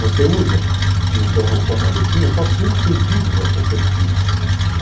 Você usa, na sua cabecinha, só cinco sentidos perceptíveis.